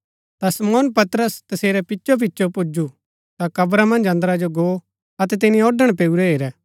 ता शमौन पतरस तसेरै पिचो पिचो पुजु ता कब्रा मन्ज अन्दरा जो गो अतै तिनी औढ़ण पैऊरै हेरै